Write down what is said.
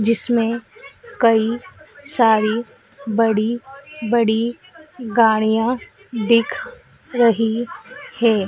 जिसमें कई सारी बड़ी बड़ी गाड़ियाँ दिख रही है।